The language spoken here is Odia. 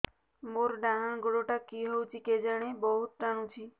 ମୋର୍ ଡାହାଣ୍ ଗୋଡ଼ଟା କି ହଉଚି କେଜାଣେ ବହୁତ୍ ଟାଣୁଛି